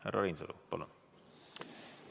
Härra Reinsalu, palun!